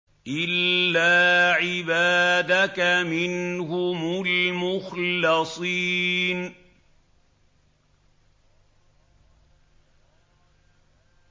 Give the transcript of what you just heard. إِلَّا عِبَادَكَ مِنْهُمُ الْمُخْلَصِينَ